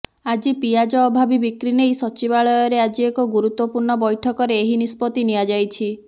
ଆଜି ପିଆଜ ଅଭାବୀ ବିକ୍ରି ନେଇ ସଚିବାଳୟରେ ଆଜି ଏକ ଗୁରୁତ୍ୱପୂର୍ଣ୍ଣ ବୈଠକରେ ଏହି ନିଷ୍ପତ୍ତି ନିଆଯାଇଛି